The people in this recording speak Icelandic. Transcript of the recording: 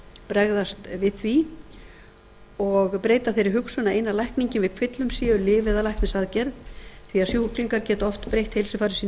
bregðast við því og breyta þeirri hugsun að eina lækningin við kvillum séu lyf eða læknisaðgerð því sjúklingar geta oft breytt heilsufari sínu